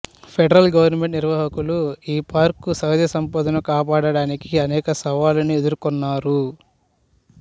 federal government నిర్వాహకులు ఈ park సహజ సంపదను కాపాడడానికి అనేక సవాళ్ళను ఎదుర్కొన్నారు